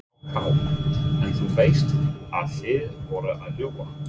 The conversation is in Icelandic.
AK: En þú veist að þið voruð að ljúga?